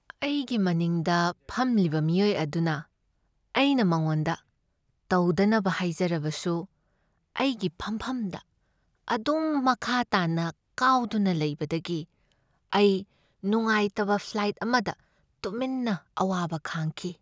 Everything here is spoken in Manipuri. ꯑꯩꯒꯤ ꯃꯅꯤꯡꯗ ꯐꯝꯂꯤꯕ ꯃꯤꯑꯣꯏ ꯑꯗꯨꯅ ꯑꯩꯅ ꯃꯉꯣꯟꯗ ꯇꯧꯗꯅꯕ ꯍꯥꯏꯖꯔꯕꯁꯨ ꯑꯩꯒꯤ ꯐꯝꯐꯝꯗ ꯑꯗꯨꯝ ꯃꯈꯥ ꯇꯥꯅ ꯀꯥꯎꯗꯨꯅ ꯂꯩꯕꯗꯒꯤ ꯑꯩ ꯅꯨꯡꯉꯥꯏꯇꯕ ꯐ꯭ꯂꯥꯏꯠ ꯑꯃꯗ ꯇꯨꯃꯤꯟꯅ ꯑꯋꯥꯕ ꯈꯥꯡꯈꯤ꯫